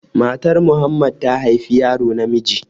Matar Muhammad ta haifi yaro namiji